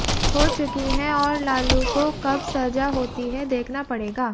हो चुकी हैं और लालू को कब सजा होती है देखना पड़ेगा